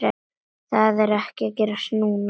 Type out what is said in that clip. Það er að gerast núna.